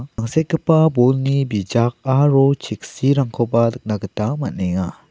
angsekgipa bolni bijak aro cheksirangkoba nikna gita man·enga.